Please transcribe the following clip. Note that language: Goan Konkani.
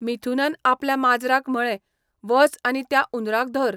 मिथुनान आपल्या माजराक म्हळें, वच आनी त्या उंदराक धर.